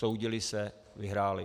Soudili se, vyhráli.